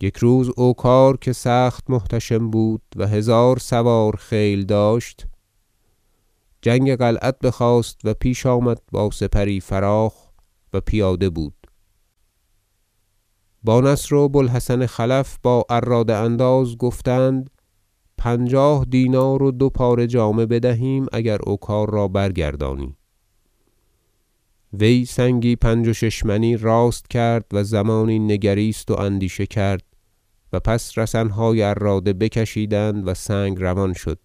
یک روز اوکار که سخت محتشم بود و هزار سوار خیل داشت جنگ قلعت بخواست و پیش آمد با سپری فراخ و پیاده بود با نصر و بو الحسن خلف با عراده انداز گفتند پنجاه دینار و دو پاره جامه بدهیم اگر اوکار را برگردانی وی سنگی پنج و شش منی راست کرد و زمانی نگریست و اندیشه کرد و پس رسنهای عراده بکشیدند و سنگ روان شد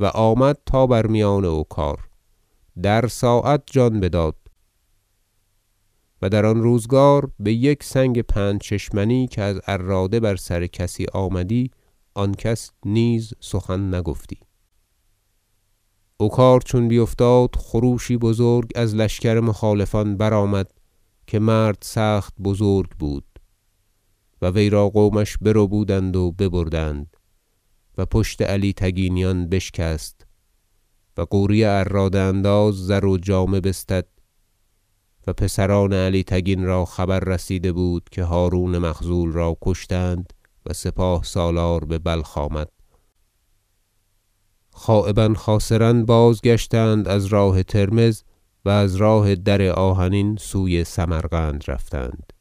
و آمد تا بر میان اوکار در ساعت جان بداد- و در آن روزگار بیک سنگ پنج منی که از عراده بر سر کسی آمدی آن کس نیز سخن نگفتی - اوکار چون بیفتاد خروشی بزرگ از لشکر مخالفان برآمد که مرد سخت بزرگ بود و وی را قومش بربودند و ببردند و پشت علی تگینیان بشکست و غوری عراده انداز زر و جامه بستد و پسران علی تگین را خبر رسیده بود که هرون مخذول را کشتند و سپاه سالار ببلخ آمد خایبا خاسرا بازگشتند از ترمذ و از راه در آهنین سوی سمرقند رفتند